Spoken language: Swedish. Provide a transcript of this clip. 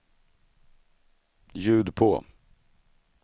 ljud på